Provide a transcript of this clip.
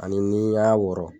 Ani ni y'a wɔɔrɔ.